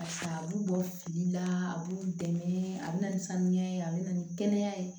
A b'u bɔ fili la a b'u dɛmɛ a bɛ na ni sanuya ye a bɛ na ni kɛnɛya ye